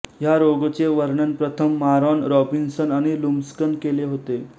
ह्या रोगचे वर्णन प्रथम मारॉन रॉबिन्सन आणि लुमस्कन केले होते